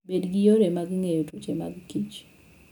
Bed gi yore mag geng'o tuoche mag kich.